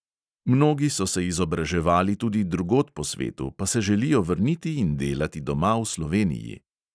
Mnogi so se izobraževali tudi drugod po svetu, pa se želijo vrniti in delati doma v sloveniji.